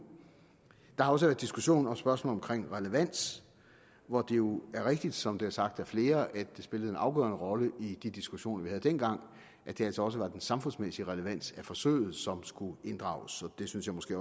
der har også diskussion om spørgsmålet om relevans hvor det jo er rigtigt som det er sagt af flere at det spillede en afgørende rolle i de diskussioner vi havde dengang at det altså også var den samfundsmæssige relevans af forsøget som skulle inddrages det synes jeg måske